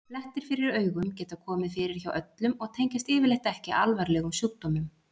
Blettir fyrir augum geta komið fyrir hjá öllum og tengjast yfirleitt ekki alvarlegum sjúkdómum.